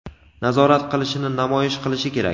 nazorat qilishini namoyish qilishi kerak.